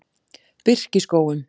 Birkiskógum